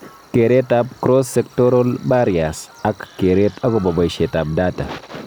Kereetab cross-sectoral barriers ,ak kereet akobo boisietab data